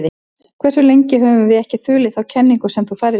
Hversu lengi höfum við ekki þulið þá kenningu sem þú færðir okkur?